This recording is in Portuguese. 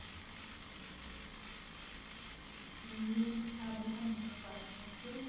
E você sabe como seus pais se conheceram?